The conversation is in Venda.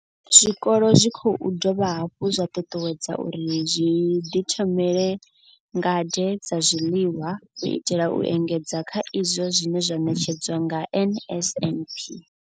Zwikolo zwi khou dovha hafhu zwa ṱuṱuwedzwa uri zwi ḓi thomele ngade dza zwiḽiwa u itela u engedza kha izwo zwine zwa ṋetshedzwa nga NSNP.